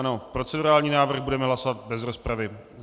Ano procedurální návrh budeme hlasovat bez rozpravy.